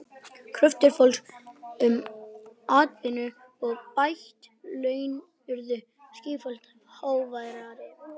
Kröfur fólks um atvinnu og bætt laun urðu sífellt háværari.